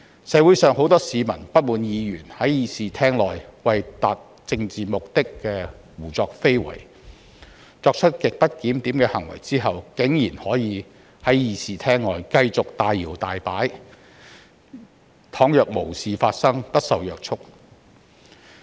社會上，很多市民不滿議員在議事廳內為達政治目的胡作非為，而且在作出極不檢點的行為後，竟然可以在議事廳外繼續大搖大擺，仿若無事發生，不受約束。